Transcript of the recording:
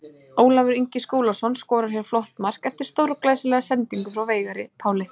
Ólafur Ingi Skúlason skorar hér flott mark eftir stórglæsilega sendingu frá Veigari Páli.